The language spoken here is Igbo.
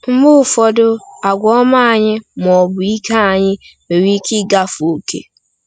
Mgbe ụfọdụ àgwà ọma anyị, ma ọ bụ ike anyị, nwere ike ịgafe ókè.